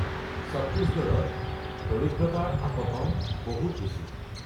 ছত্তীশগড়ত দৰিদ্ৰতাৰ আপতন বহুত বেছি।